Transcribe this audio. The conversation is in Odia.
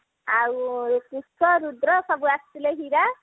ଆଉ ରୁଦ୍ର ସବୁ ଆସିଥିଲେ ଆସିଥିଲେ ହୀରା